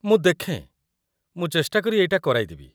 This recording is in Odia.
ମୁଁ ଦେଖେଁ, ମୁଁ ଚେଷ୍ଟା କରି ଏଇଟା କରାଇଦେବି ।